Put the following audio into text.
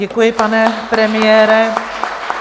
Děkuji, pane premiére.